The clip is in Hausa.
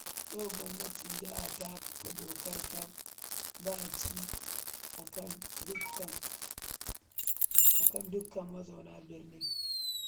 Yau gwamnatin jiha ta kafa dokar ta-ɓaci a kan dukka mazauna birnin